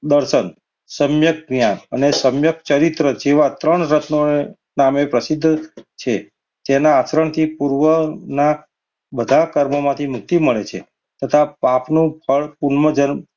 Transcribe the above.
દર્શન, સમયજ્ઞાન અને સમ્યક ચરિત્ર એવા ત્રણ રત્ન ના નામે પ્રસિદ્ધ છે. તેના આચરણથી પૂર્વના બધા કર્મોથી મુક્તિ મળે છે તથા પાપનું ફળ પૂર્વ જન્મ,